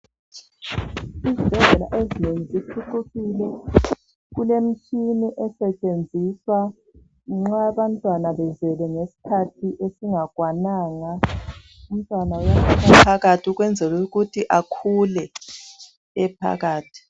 Izibhedlela ezinengi ziphucukile, kulemitshini esetshenziswa nxa abantwana bezelwe ngesikhathi esingakwananga. Umntwana uyafakwa phakathi ukwenzela ukuthi akhule ephakathi.